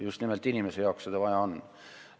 Just nimelt inimeste jaoks seda vaja on.